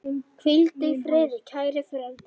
Hvíldu í friði, kæri frændi.